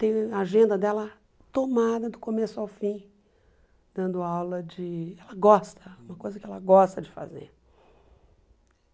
Tem a agenda dela tomada do começo ao fim, dando aula de... ela gosta, uma coisa que ela gosta de fazer.